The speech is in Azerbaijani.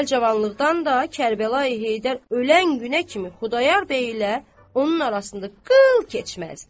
Əvvəl cavanlıqdan da Kərbəlayı Heydər ölən günə kimi Xudayar bəy ilə onun arasında qıl keçməzdi.